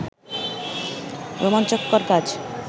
রোমাঞ্চকর কাজ